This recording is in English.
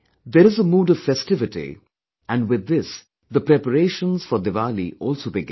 There is a mood of festivity and with this the preparations for Diwali also begin